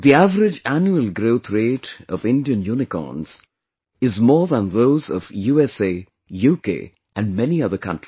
The average annual growth rate of Indian Unicorns is more than those of USA, UK and many other countries